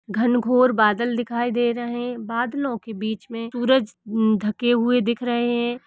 घनघोर बादल दिखाई दे रहे। बादलों के बीच में सूरज म्म धके हुए दिख रहे है।